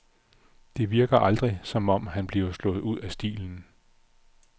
Det virker aldrig, som om han bliver slået ud af stilen.